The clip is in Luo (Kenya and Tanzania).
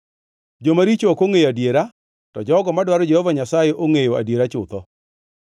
Jomaricho ok ongʼeyo adiera, to jogo madwaro Jehova Nyasaye ongʼeyo adiera chutho.